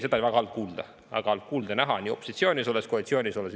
Seda oli väga halb kuulda, halb kuulda ja näha nii opositsioonis olles kui ka koalitsioonis olles.